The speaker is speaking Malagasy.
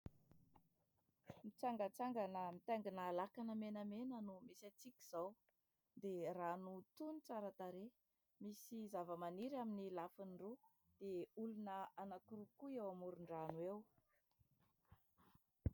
Mitsangantsangana mitaingina lakana menamena no misy antsika izao dia rano tony tsara tarehy, misy zavamaniry amin'ny lafiny roa dia olona anankiroa koa eo amoron-drano eo.